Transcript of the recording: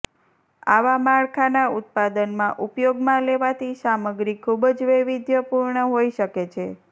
આવા માળખાના ઉત્પાદનમાં ઉપયોગમાં લેવાતી સામગ્રી ખૂબ જ વૈવિધ્યપુર્ણ હોઇ શકે છે